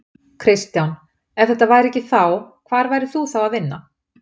Kristján: Ef þetta væri ekki þá, hvar værir þú þá að vinna?